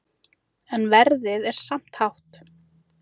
En verðið er samt hátt.